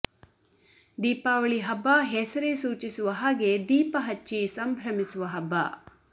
ದೀಪಾವಳಿ ಹಬ್ಬ ಹೆಸರೇ ಸೂಚಿಸುವ ಹಾಗೆ ದೀಪ ಹಚ್ಚಿ ಸಂಭ್ರಮಿಸುವ ಹಬ್ಬ